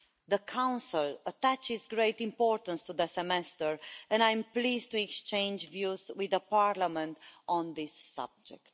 The Council attaches great importance to the semester and I'm pleased to exchange views with Parliament on the subject.